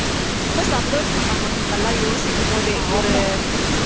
ரொம்ப சந்தோஷம் நம்ம இதெல்லாம் யோசிக்கும் போதே ஒரு